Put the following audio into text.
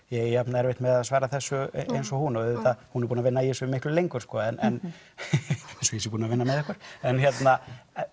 ég eigi jafn erfitt með að svara þessu eins og hún og auðvitað hún búin að vinna í þessu miklu lengur eins og ég sé búin að vinna með ykkur en hérna